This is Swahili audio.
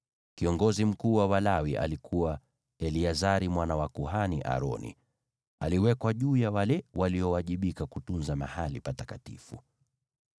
Kiongozi mkuu wa Walawi alikuwa Eleazari mwana wa kuhani, Aroni. Aliwekwa juu ya wale waliowajibika kutunza mahali patakatifu.